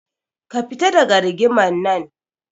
Ka fita daga rigimar nan.